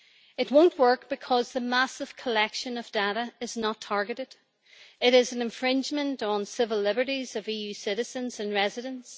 It will not work because the massive collection of data is not targeted. It is an infringement of the civil liberties of EU citizens and residents.